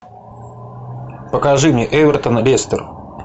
покажи мне эвертон лестер